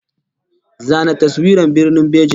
Zana taswirar Birnin Beijing!